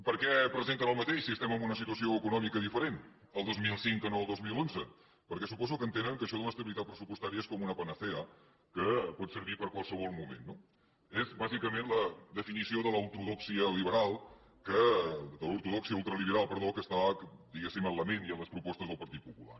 per què presenten el mateix si estem en una situació econòmica diferent el dos mil cinc que el dos mil onze perquè suposo que entenen que això de l’estabilitat pressupostària és com una panacea que pot servir per a qualsevol moment no és bàsicament la definició de l’ortodòxia ultraliberal que està diguéssim en la ment i en les propostes del partit popular